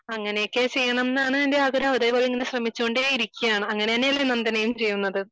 അങ്ങനെയൊക്കെ ചെയ്യണമെന്നാണ് എന്റെ ആഗ്രഹം അതേപോലെതന്നെ ശ്രമിച്ചുകൊണ്ടേയിരിക്കയാണ് അങ്ങനെ തന്നെയല്ലേ നന്ദനയും ചെയ്യുന്നത്